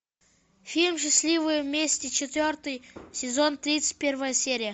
фильм счастливы вместе четвертый сезон тридцать первая серия